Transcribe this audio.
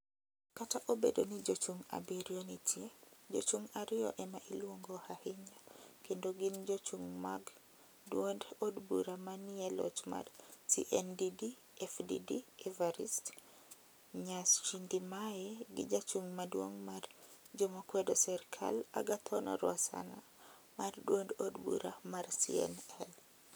Kata obedo ni jochung' 7 nitie, jochung' ariyo ema iluongo ahinya kendo gin jochung' mag duond od bura ma ni e loch mar CNDD FDD Evariste Ndayshimiye gi jachung' maduong mar jomakwedo serkal Agathon Rwasana mar duond od bura mar CNL.